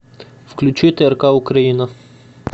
включи трк украина